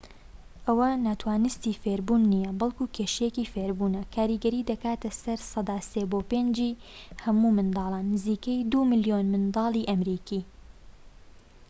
ئەوە ناتوانستی فێربوون نیە، بەڵكو کێشەیەکی فێربوونە؛ کاریگەری دەکاتە سەر سەدا ٣ بۆ ٥ ی هەموو منداڵان، نزیکەی ٢ ملیۆن منداڵی ئەمریکی